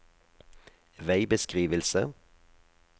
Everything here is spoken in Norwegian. veibeskrivelse